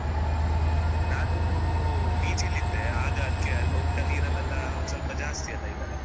ಹ್ಮ್‌ ನಾನು PG ಲಿ ಇದ್ದೆ ಆಗ ಅದಕ್ಕೆ ಊಟ ನೀರಲೆಲ್ಲಾ ಒಂದ್ ಸ್ವಲ್ಪ ಜಾಸ್ತಿ ಅಲ್ಲ ಇದೆಲ್ಲ .